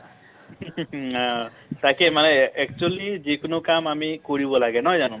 তাকে মানে আ actually যিকোনো কাম আমি কৰিব লাগে , নহয় জানো